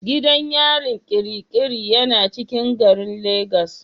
Gidan yarin Kirikiri yana cikin garin lagos.